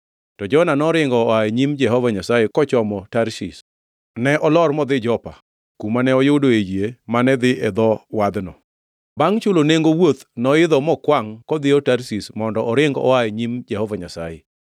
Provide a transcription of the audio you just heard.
To Jona noringo oa e nyim Jehova Nyasaye kochomo Tarshish. Ne olor modhi Jopa, kumane oyudoe yie mane dhi e dho wadhno. Bangʼ chulo nengo wuoth noidho mokwangʼ kodhiyo Tarshish mondo oring oa e nyim Jehova Nyasaye.